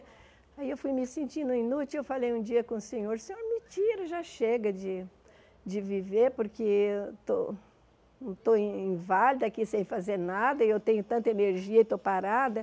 Aí eu fui me sentindo inútil, e eu falei um dia com o senhor, senhor, me tira, já chega de de viver, porque eu estou estou in inválida aqui sem fazer nada, e eu tenho tanta energia e estou parada.